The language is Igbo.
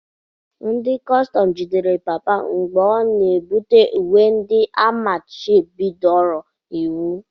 Ndị kọstọm jidere papa m mgbe ọ na-ebubata uwe ndị a machibidoro iwu.